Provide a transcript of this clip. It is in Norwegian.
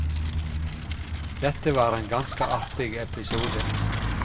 Dette var en ganske artig episode.